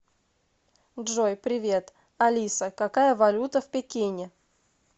джой привет алиса какая валюта в пекине